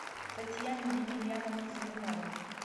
татьяне емельяновне зеленовой